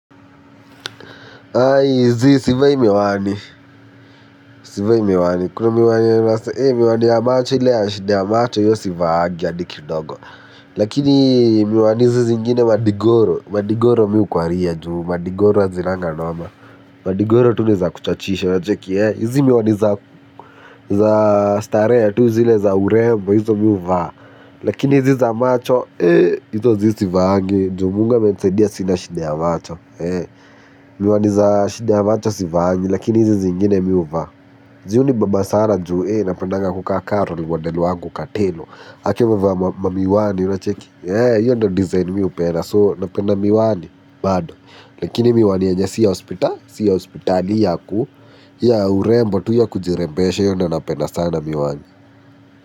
Ayi zi sivayi miwani. Sivayi miwani. Kuna miwani wase ee miwani ya macho ile ya shida amacho hiyo sivaagi adi kidogo. Lakini miwani zi zingine madigoro. Madigoro miu kwaria juu madigoro azinanga noma. Madigoro tu ni za kuchachisha na cheki ee. Izi miwani za starehe ya tu zile za urembo hizo mi uvaa. Lakini zi za macho ee izo zi sivaagi. Ju mungu amentsedia sina shinda ya macho. Miwani za shidi ya macho sivahanyi. Lakini hizi zingine miwva. Ziyo ni babasara njue. Napendanga kukaa kato Liwadelu wangu katelo hakewa vwa mamiwani Yono cheki Yono design miwupena So napenda miwani. Bado lakini miwani enya siya hospital. Siya hospitali yaku. Ya urembo tuya kujirembeshe Yo nho napenda sana miwani.